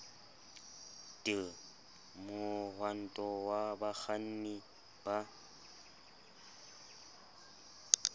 d mohwanto wa bakganni ba